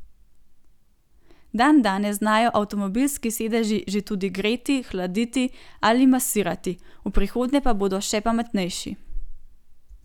Dandanes znajo avtomobilski sedeži že tudi greti, hladiti ali masirati, v prihodnje pa bodo še pametnejši.